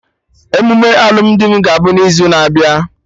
Emume alụmdi m ga abụ n'izu na-abịa